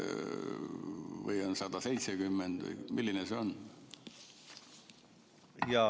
Või on see 170 miljonit või mis see on?